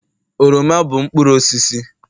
oroma bụ mkpụrụ osisi